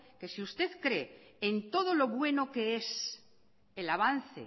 que si usted cree en todo lo bueno que es el avance